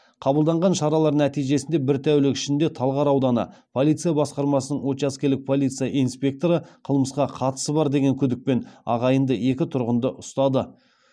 қабылданған шаралар нәтижесінде бір тәулік ішінде талғар ауданы полиция басқармасының учаскелік полиция инспекторы қылмысқа қатысы бар деген күдікпен ағайынды екі тұрғынды ұстады